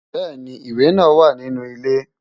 Bẹ́ẹ̀ni, ìwẹ̀ náà wà ní inú ilé.